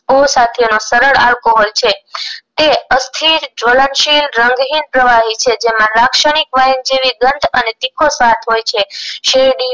સરળ alcohol છે તે અસ્થિર જ્વલનશીલ રંગહીન પ્રવાહી છે જેમાં રાક્ષણિક વાયન જેવી ગંધ અને તીખો સ્વાદ હોય છે શેરડી